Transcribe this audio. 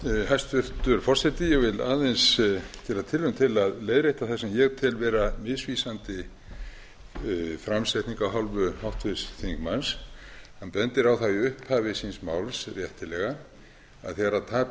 hæstvirtur forseti ég vil aðeins gera tilraun til að leiðrétta það sem ég tel vera misvísandi framsetningu af hálfu háttvirts þingmanns hann bendir á það í upphafi síns máls réttilega að þegar tap